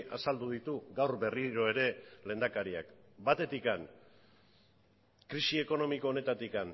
azaldu ditu gaur berriro ere lehendakariak batetik krisi ekonomiko honetatik